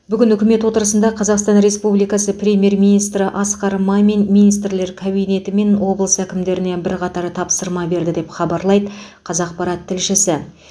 бүгін үкімет отырысында қазақстан республикасы премьер министрі асқар мамин министрлер кабинеті мен облыс әкімдеріне бірқатар тапсырма берді деп хабарлайды қазақпарат тілшісі